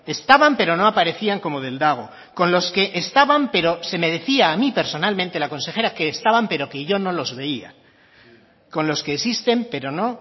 estaban pero no aparecían como del dago con los que estaban pero se me decía a mí personalmente la consejera que estaban pero que yo no los veía con los que existen pero no